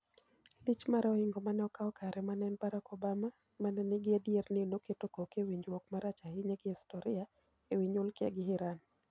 lich mare ohingo mane okaw kare ma en Barack Obamamane nigi adier ni noketo koke e winjruok marach ahinya e historia, e wi nyukilia gi Iran.